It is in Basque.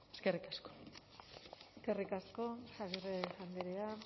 eskerrik asko eskerrik asko agirre andrea